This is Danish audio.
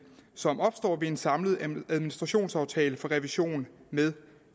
som opstår ved en samlet administrationsaftale for revision med